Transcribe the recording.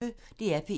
DR P1